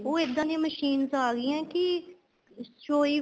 ਉਹ ਇੱਦਾਂ ਦੀਆਂ machines ਆ ਗਈਆਂ ਕੀ ਸ਼ੋਈ